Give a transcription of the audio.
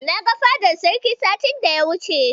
Na ga fadar Sarkin satin da ya wuce.